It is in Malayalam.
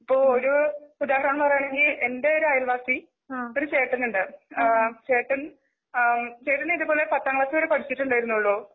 ഇപ്പൊ ഒരു ഉദാഹരണം പറയുവാണെങ്കിൽ എന്റെ ഒരു അയൽവാസി ഒരു ചേട്ടനുണ്ട് ആ ചേട്ടൻ ആ ഇതുപോലെ പത്താംക്ലാസ്സ്‌വരെ പഠിച്ചിട്ടുണ്ടാരുന്നുള്ളു.